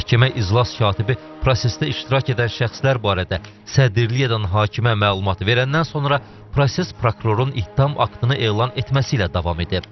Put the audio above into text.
Məhkəmə iclas katibi prosesdə iştirak edən şəxslər barədə sədrliyi edən hakimə məlumat verəndən sonra proses prokurorun ittiham aktını elan etməsi ilə davam edib.